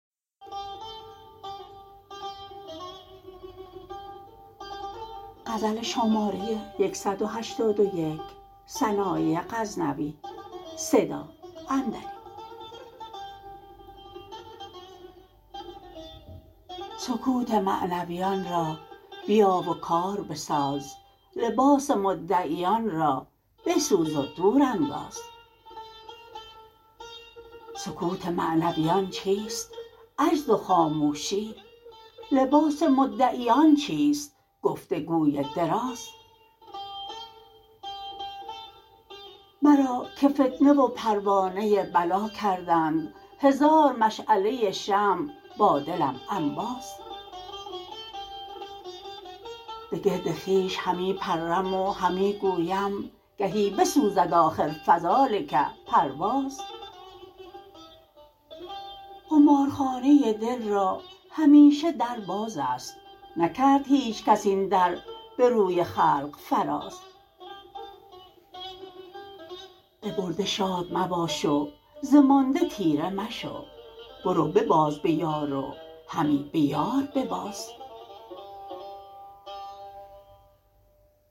سکوت معنویان را بیا و کار بساز لباس مدعیان را بسوز و دور انداز سکوت معنویان چیست عجز و خاموشی لباس مدعیان چیست گفتگوی دراز مرا که فتنه و پروانه بلا کردند هزار مشعله شمع با دلم انباز به گرد خویش همی پرم و همی گویم گهی بسوزد آخر فذلک پرواز قمار خانه دل را همیشه در بازست نکرد هیچ کس این در به روی خلق فراز به برده شاد مباش وز مانده طیره مشو برو بباز بیار و همی به یار بباز